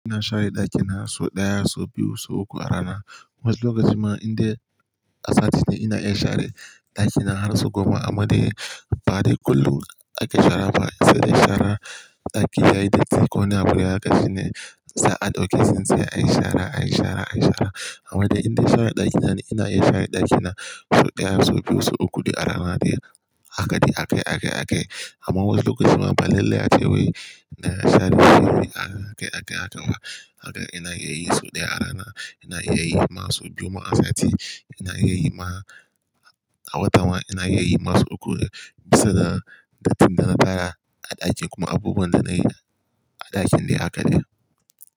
Ina share daki na so ɗaya, so biyu, so uku a rana. Wasu lokaci ma in dai asati ne ina iya share daki na har sau goma. Amma dai ba dai kullum ake shara ba, sai dai share daki yayi datti. Ko wani abu ƙashi ne, sa'ad da kyankshen sai a yi share, a yi share, a yi share. Amma dai in dai share ɗaki na ina iya share daki na so ɗaya, so biyu, so uku, duk a rana dai. Haka dai ake, ake, ake. Amma wasu lokaci ma ba lallai a ce wai ina share sama ake, ake a can ma. Haka ina iya yi so ɗaya a rana, ina yayin ma so biyu ma asati, ina yayin ma a wata ma ina yayi ma so uku. Bisa da datti na tara a ɗakin kuma abubuwan da na yi a ɗakin dai haka dai.